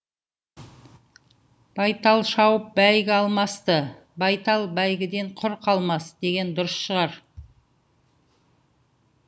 байталшауып бәйгі алмасты байтал бәйгіден құр қалмас деген дұрыс шығар